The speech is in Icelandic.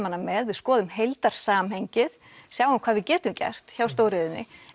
hana með við skoðum heildarsamhengið sjáum hvað við getum gert hjá stóriðjunni